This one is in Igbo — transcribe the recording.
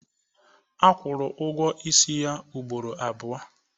a kwụrụ ụgwọ ọnwa ya ugboro abụọ